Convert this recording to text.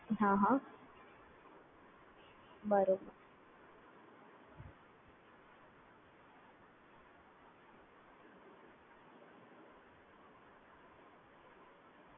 બરાબર